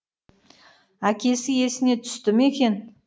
әкесі есіне түсті ме екен